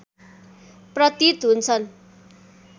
प्रतीत हुन्छन्